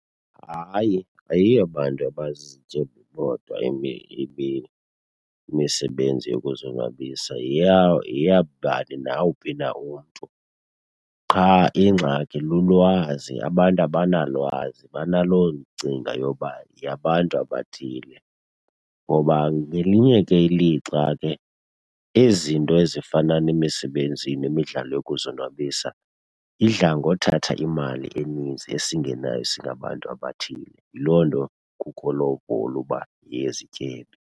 Hayi, ayiyo yabantu abazizityebi bodwa imisebenzi yokuzonwabisa, yeyabani nawuphi na umntu. Qha ingxaki lulwazi, abantu abanalwazi, banaloo ngcinga yoba yeyabantu abathile. Ngoba ngelinye ke ilixa ke izinto ezifana nemisebenzi nemidlalo yokuzonwabisa idla ngothatha imali eninzi esingenayo singabantu abathile, yiloo nto kukho loo uba yeyezityebi.